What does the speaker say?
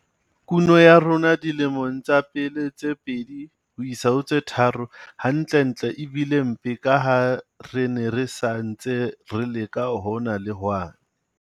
Kuno ya rona dilemong tsa pele tse pedi ho isa ho tse tharo hantlentle e bile mpe ka ha re ne re sa ntse re leka hona le hwane.